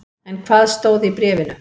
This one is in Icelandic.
En hvað stóð í bréfinu?